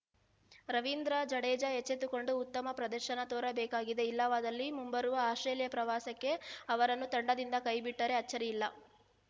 ರವೀಂದ್ರ ಜಡೇಜಾ ಎಚ್ಚೆತ್ತುಕೊಂಡು ಉತ್ತಮ ಪ್ರದರ್ಶನ ತೋರಬೇಕಿದೆ ಇಲ್ಲವಾದಲಿ ಮುಂಬರುವ ಆಸ್ಪ್ರೇಲಿಯಾ ಪ್ರವಾಸಕ್ಕೆ ಅವರನ್ನು ತಂಡದಿಂದ ಕೈಬಿಟ್ಟರೆ ಅಚ್ಚರಿಯಿಲ್ಲ